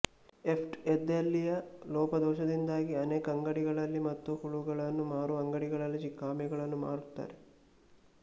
ಎಫ್್ಡಿಎದಲ್ಲಿಯ ಲೋಪದೋಷದಿಂದಾಗಿ ಅನೆಕ ಅಂಗಡಿಗಳಲ್ಲಿ ಮತ್ತು ಹುಳಗಳನ್ನು ಮಾರುವ ಅಂಗಡಿಗಳಲ್ಲಿ ಚಿಕ್ಕ ಆಮೆಗಳನ್ನು ಮಾರುತ್ತಾರೆ